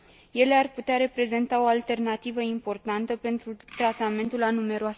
Ele ar putea reprezenta o alternativă importantă pentru tratamentul a numeroase boli.